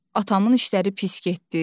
Atamın işləri pis getdi.